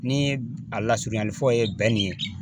Ni a lasurunyalifɔ ye ye